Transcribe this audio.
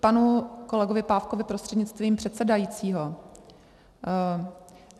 Panu kolegovi Pávkovi prostřednictvím předsedajícího.